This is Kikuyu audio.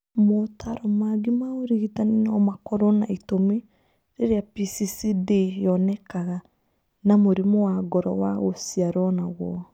Motaaro mangĩ ma ũrigitani no makorũo na itũmi rĩrĩa PCCD yonekanaga na mũrimũ wa ngoro wa gũciarũo naguo.